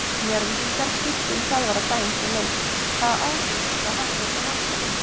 Njarðvíkingar skiptu um þjálfara daginn fyrir leik, hvaða áhrif það hafði á mannskapinn?